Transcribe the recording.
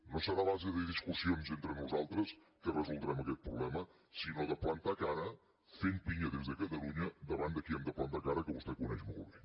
no serà a base de discussions entre nosaltres que resoldrem aquest problema sinó de plantar cara fent pinya des de catalunya davant de qui hem de plantar cara que vostè coneix molt bé